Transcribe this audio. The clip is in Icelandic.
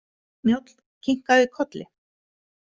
Njáll kinkaði kolli.